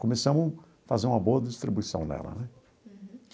Começamos a fazer uma boa distribuição nela né.